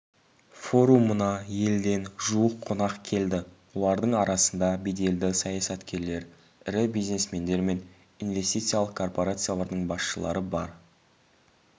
форумына елден жуық қонақ келді олардың арасында беделді саясаткерлер ірі бизнесмендер мен инвестициялық корпорациялардың басшылары бар